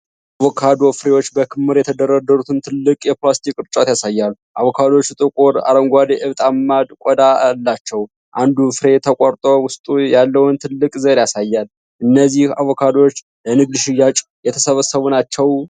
አቮካዶ ፍሬዎች በክምር የተደረደሩበትን ትልቅ የፕላስቲክ ቅርጫት ያሳያል። አቮካዶዎቹ ጥቁር አረንጓዴ፣ እብጠታማ ቆዳ አላቸው። አንዱ ፍሬ ተቆርጦ ውስጡ ያለውን ትልቅ ዘር ያሳያል። እነዚህ አቮካዶዎች ለንግድ ሽያጭ የተሰበሰቡ ናቸው?